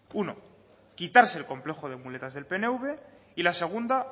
uno quitarse el complejo de muletas del pnv y la segunda